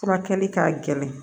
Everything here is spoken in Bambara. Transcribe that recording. Furakɛli ka gɛlɛn